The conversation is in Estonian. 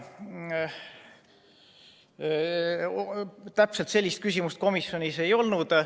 Täpselt sellist küsimust komisjonis ei olnud.